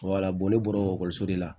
ne bɔra ekɔliso de la